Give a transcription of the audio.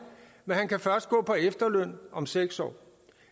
men han kan først gå på efterløn om seks år